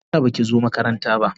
Me yasa baki zo makaranta ba?